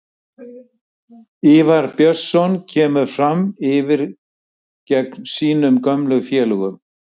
Ívar Björnsson kemur Fram yfir geng sínum gömlu félögum.